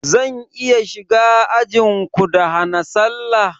Zan iya shiga ajinku da hana sallah?